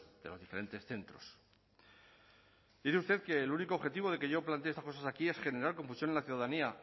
de los diferentes centros dice usted que el único objetivo de que yo plantee estas cosas aquí es generar confusión en la ciudadanía